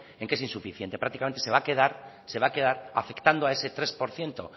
en que es insuficiente prácticamente se va a quedar afectando a ese tres por ciento